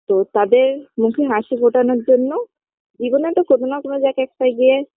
তো তাদের মুখে হাসি ফোটানোর জন্য জীবনে একটা কোনো না কোনো জায়গায় একটা গিয়ে